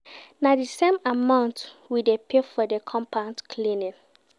Na di same amount we dey pay for di compound cleaning.